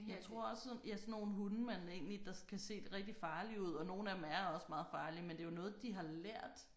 Jeg tror også så ja sådan nogle hunde man egentlig der kan se rigtig farlige ud og nogle af dem er også meget farlige men det jo noget de har lært